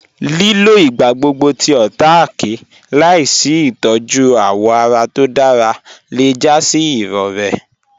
Lílọ̀ igbàgbọ́gbọ̀ tí ọ̀táàké làásì itọ̀jú awọ́ ará tó dára lẹ́ já sí irọ̀rẹ̀.